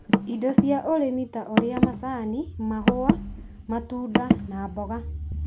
Indo cia ũrĩmi ta ũrĩa macani, mahũa, maunda na mboga,